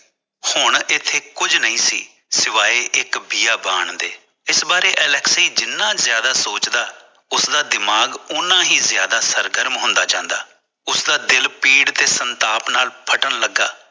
ਹੁਣ ਇਥੇ ਕੁਜ ਨਹੀਂ ਸੀ ਸਿਵਾਏ ਇਕ ਬਾਣ ਦੇ ਇਸ ਵਾਰ ਅਲੈਕਸੀ ਜਿਨ੍ਹਾਂ ਜ਼ਿਆਦਾ ਸੋਚਦਾ ਉਸਦਾ ਦਿਮਾਗ਼ ਉਹਨਾਂ ਹੀ ਜ਼ਿਆਦਾ ਸਰ ਗਰਮ ਹੁੰਦਾ ਜਾਂਦਾ ਉਸਦਾ ਦਾ ਦਿਲ ਪੀੜ ਤੇ ਸੰਤਾਪ ਨਾਲ ਫੱਟਣ ਲਗਾ